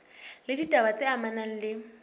le ditaba tse amanang le